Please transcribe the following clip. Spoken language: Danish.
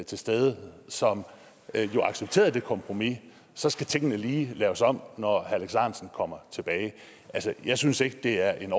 til stede som jo accepterede det kompromis så skal tingene lige laves om når herre alex ahrendtsen kommer tilbage altså jeg synes ikke det er en